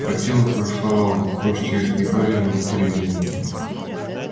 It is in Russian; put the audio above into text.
по телу прошла волна кости изгибались будто резиновые